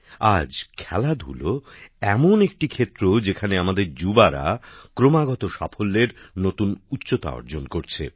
আজ খেলাধুলা এমন একটি ক্ষেত্র যেখানে আমাদের যুবসম্প্রদায় ক্রমাগত সাফল্যের নতুন উচ্চতা অর্জন করছে